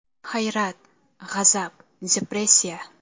Hayrat, g‘azab, depressiya.